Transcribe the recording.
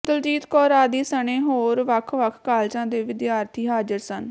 ਦਲਜੀਤ ਕੌਰ ਆਦਿ ਸਣੇ ਹੋਰ ਵੱਖ ਵੱਖ ਕਾਲਜਾਂ ਦੇ ਵਿਦਿਆਰਥੀ ਹਾਜ਼ਰ ਸਨ